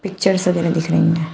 Picture सब इधर दिख रही हैं।